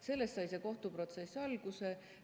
Sellest sai see kohtuprotsess alguse.